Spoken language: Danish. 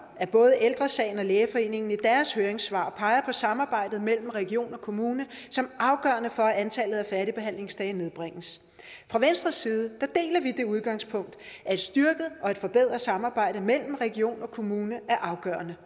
at både ældre sagen og lægeforeningen i deres høringssvar peger på samarbejdet mellem region og kommune som afgørende for at antallet af færdigbehandlingsdage nedbringes fra venstres side deler vi det udgangspunkt at et styrket og et forbedret samarbejde mellem region og kommune er afgørende